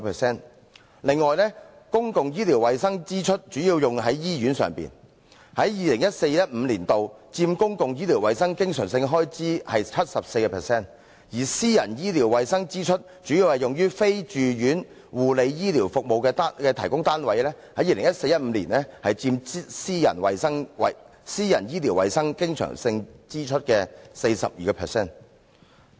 此外，公共醫療衞生支出主要用於醫院上，在 2014-2015 年度佔公共醫療衞生經常性開支的 74%， 而私人醫療衞生支出主要用於非住院護理醫療服務提供單位，在 2014-2015 年度佔私人醫療衞生經常性支出的 42%。